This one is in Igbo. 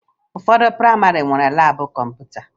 Ụfọdụ prayịmarị nwere laabụ kọmputa